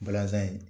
Balazan in